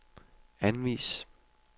anvis